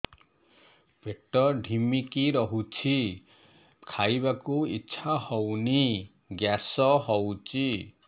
ପେଟ ଢିମିକି ରହୁଛି ଖାଇବାକୁ ଇଛା ହଉନି ଗ୍ୟାସ ହଉଚି